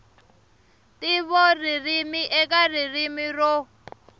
ntivo ririmi eka ririmi ro